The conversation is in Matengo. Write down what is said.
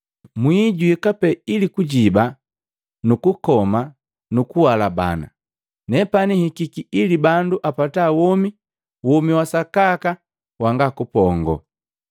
Mwii juika pee ili kujiba nukukoma nukuhalabana. Nepani nhikiki ili bandu apata womi, womi wa sakaka wanga kupongo.